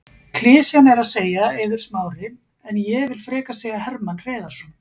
Klisjan er að segja Eiður Smári en ég vill frekar segja Hermann Hreiðarsson.